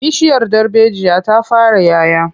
Bishiyar darbejiya ta fara 'ya 'ya.